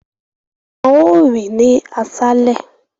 Wọn óò rìn ní aṣálẹ̀